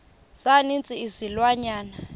za ninzi izilwanyana